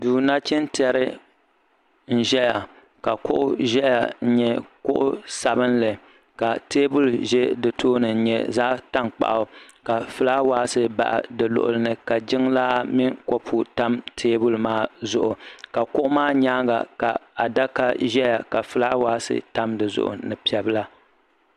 duu nachin tiɛri n ʒɛya ka kuɣu ʒɛya n nyɛ kuɣu sabinli ka teebuli ʒɛ di tooni n nyɛ zaɣ tankpaɣu ka fulaawaasi baɣi di luɣuli ni jiŋlaa mini kɔpu tam teebuli maa zuɣu ka kuɣu maa nyaanga ka adaka ʒɛya ka fulaawaasi tam dizuɣu ni piɛ bila